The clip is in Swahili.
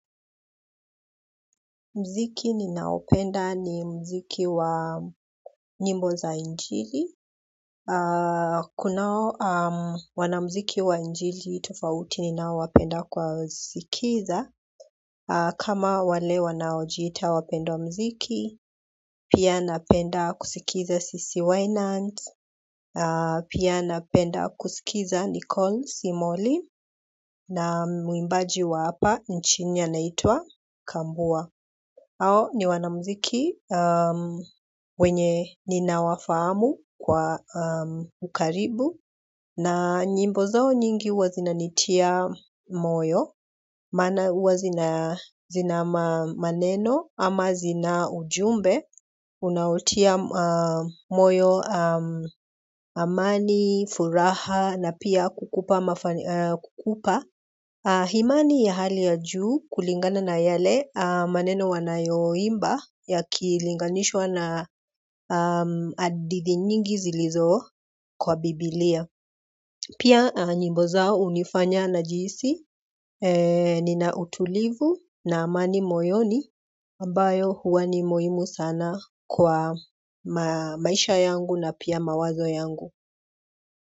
Muziki ninaopenda ni muziki wa nyimbo za injili. Kunao wanamuziki wa injili tofauti ninao wapenda kuwa sikiza. Kama wale wanaojita wapendwa muziki, pia napenda kusikiza sisi wainant, pia napenda kusikiza Nicole Simoli na muimbaji wa hapa nchini anaitwa Kambua. Hao ni wanamuziki wenye ninawafahamu kwa ukaribu na nyimbo zao nyingi huwa zina nitia moyo, maana huwa zina maneno ama zina ujumbe, unaotia moyo amani, furaha na pia kukupa mafani, kukupa. Imani ya hali ya juu kulingana na yale maneno wanayo imba yakilinganishwa na hadithi nyingi zilizo kwa biblia. Pia nyimbo zao hunifanya najihisi nina utulivu na amani moyoni ambayo huwa ni muhimu sana kwa maisha yangu na pia mawazo yangu.